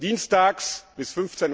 Dienstags bis